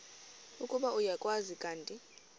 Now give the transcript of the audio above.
ukuba uyakwazi kanti